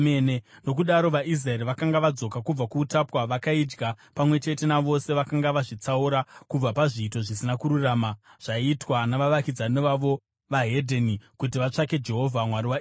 Nokudaro vaIsraeri vakanga vadzoka kubva kuutapwa vakaidya, pamwe chete navose vakanga vazvitsaura kubva pazviito zvisina kururama zvaiitwa navavakidzani vavo vokune dzimwe ndudzi, kuti vatsvake Jehovha, Mwari waIsraeri.